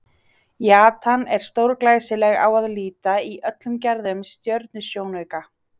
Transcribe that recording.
Jatan er stórglæsileg á að líta í öllum gerðum stjörnusjónauka.